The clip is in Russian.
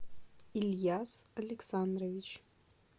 ильяс александрович